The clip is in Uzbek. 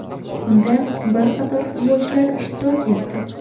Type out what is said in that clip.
Unda bir qator futbolchilar ishtirok etdi.